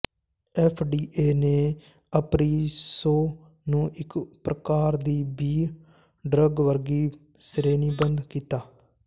F D A ਨੇ ਅਪਰਿਸੋ ਨੂੰ ਇੱਕ ਪ੍ਰਕਾਰ ਦੀ ਬੀ ਡਰੱਗ ਵਰਗੀ ਸ਼੍ਰੇਣੀਬੱਧ ਕੀਤਾ ਹੈ